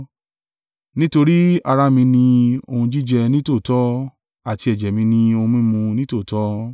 Nítorí ara mi ni ohun jíjẹ nítòótọ́, àti ẹ̀jẹ̀ mi ni ohun mímu nítòótọ́.